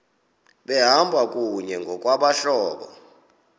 behamba kunye ngokwabahlobo